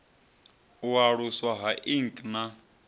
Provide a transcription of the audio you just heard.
u aluswa ha ik na